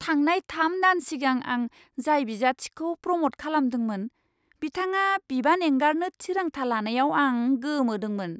थांनाय थाम दान सिगां आं जाय बिजाथिखौ प्रम'ट खालामदोंमोन बिथाङा बिबान एंगारनो थिरांथा लानायाव आं गोमोदोंमोन।